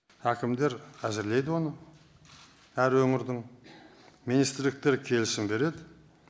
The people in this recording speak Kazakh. әкімдер әзірлейді оны әр өңірдің министрліктер келісім береді